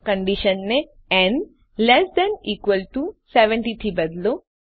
કન્ડીશનને ન less than equal to 70 થી બદલો